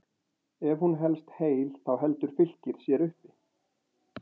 Ef hún helst heil þá heldur Fylkir sér uppi.